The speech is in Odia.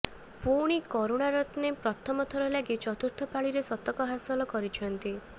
ପୁଣି କରୁଣାରତ୍ନେ ପ୍ରଥମ ଥର ଲାଗି ଚତୁର୍ଥ ପାଳିରେ ଶତକ ହାସଲ କରିଛନ୍ତି